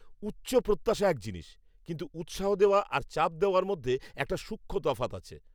উচ্চ প্রত্যাশা এক জিনিস, কিন্তু উৎসাহ দেওয়া আর চাপ দেওয়ার মধ্যে একটা সূক্ষ্ম তফাৎ আছে।